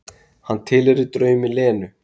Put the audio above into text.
Hann tilheyrir draumi Lenu.